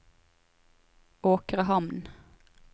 Åkrehamn